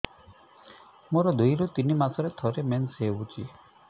ମୋର ଦୁଇରୁ ତିନି ମାସରେ ଥରେ ମେନ୍ସ ହଉଚି